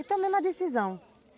E tomemos a decisão.